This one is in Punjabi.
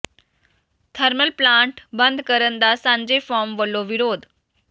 ਥਰਮਲ ਪਲਾਂਟ ਬੰਦ ਕਰਨ ਦਾ ਸਾਂਝੇ ਫੋਰਮ ਵਲੋਂ ਵਿਰੋਧ